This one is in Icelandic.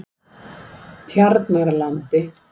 Tjarnarlandi